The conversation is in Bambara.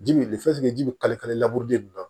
Ji bi ji bɛ kalikale laburu den nin na